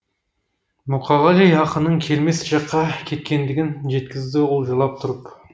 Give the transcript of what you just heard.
мұқағали ақынның келмес жаққа кеткендігін жеткізді ұл жылап тұрып